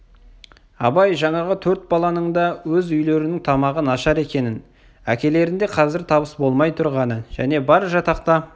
абай жаңағы төрт баланың да өз үйлерінің тамағы нашар екенін әкелерінде қазір табыс болмай тұрғанын және бар жатақта